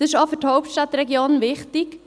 Das ist auch für die Hauptstadtregion wichtig.